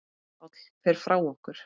Páll fer frá okkur.